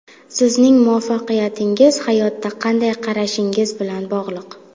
Sizning muvaffaqiyatingiz hayotga qanday qarashingiz bilan bog‘liq.